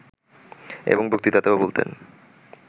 এবং বক্তৃতাতেও বলতেন